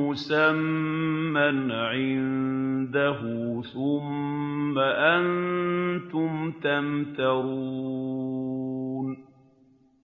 مُّسَمًّى عِندَهُ ۖ ثُمَّ أَنتُمْ تَمْتَرُونَ